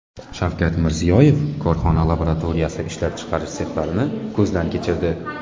Shavkat Mirziyoyev korxona laboratoriyasi, ishlab chiqarish sexlarini ko‘zdan kechirdi.